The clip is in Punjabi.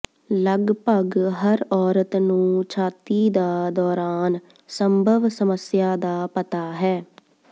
ਲਗਭਗ ਹਰ ਔਰਤ ਨੂੰ ਛਾਤੀ ਦਾ ਦੌਰਾਨ ਸੰਭਵ ਸਮੱਸਿਆ ਦਾ ਪਤਾ ਹੈ